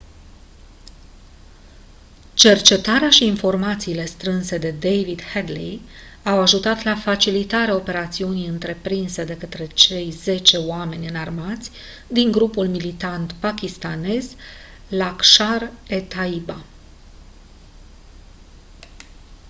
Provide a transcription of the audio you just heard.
cercetarea și informațiile strânse de david headley au ajutat la facilitarea operațiunii întreprinse de către cei 10 oameni înarmați din grupul militant pakistanez laskhar-e-taiba